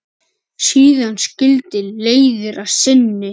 Síðan skildi leiðir að sinni.